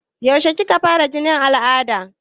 Yaushe kika fara jinin al'ada?